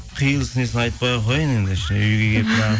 қиылысын несін айтпай ақ қояйын енді үйге келіп